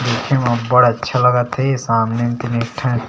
देखे म अब्बड़ अच्छा लगत हे सामने में एक ठक--